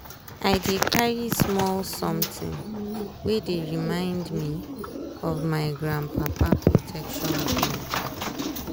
i dey carry small sometin wey dey remind me of my gran papa protection belief.